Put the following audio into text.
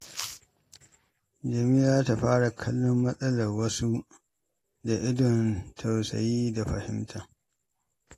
Jamila za ta fara kallon matsalar wasu da idon tausayi da fahimta.